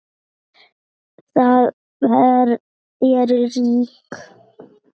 Við erum ríkar